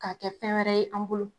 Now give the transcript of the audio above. K'a kɛ fɛn wɛrɛ ye an bolo